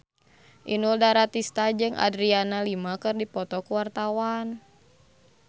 Inul Daratista jeung Adriana Lima keur dipoto ku wartawan